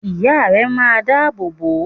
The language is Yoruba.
Ìya rẹ máa n dá àbò bò o